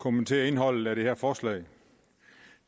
kommentere indholdet i det her forslag